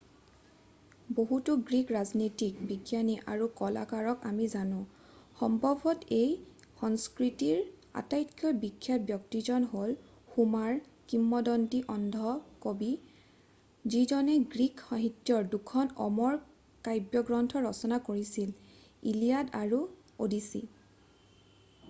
বহুতো গ্ৰীক ৰাজনীতিজ্ঞ বিজ্ঞানী আৰু কলাকাৰক আমি জানো সম্ভৱত এই সংস্কৃতিৰ আটাইতকৈ বিখ্যাত ব্যক্তিজন হ'ল হোমাৰ কিম্বদন্তি অন্ধ কবি যিজনে গ্ৰীক সাহিত্যৰ দুখন অমৰ কাব্যগ্ৰন্থ ৰচনা কৰিছিল ইলিয়াড আৰু অ'ডিচি